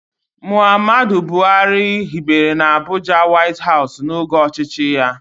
Mohammed Buhari hibere n'Abuja Wáiti háusù n'oge ọchịchị ya